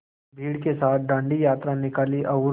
भीड़ के साथ डांडी यात्रा निकाली और